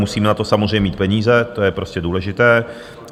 Musíme na to samozřejmě mít peníze, to je prostě důležité.